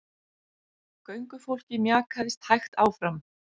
Göngufólkið mjakaðist hægt áfram.